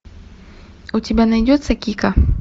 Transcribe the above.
у тебя найдется кика